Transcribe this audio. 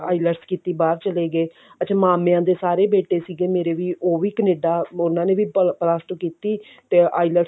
IELTS ਕੀਤੀ ਬਾਹਰ ਚਲੇ ਗਏ ਅੱਛਾ ਮਾਮਿਆਂ ਦੇ ਸਾਰੇ ਬੇਟੇ ਸੀਗੇ ਮੇਰੇ ਵੀ ਉਹ ਵੀ ਕਨੇਡਾ ਉਹਨਾਂ ਨੇ ਵੀ plus two ਕੀਤੀ IELTS